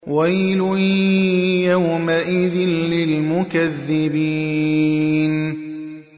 وَيْلٌ يَوْمَئِذٍ لِّلْمُكَذِّبِينَ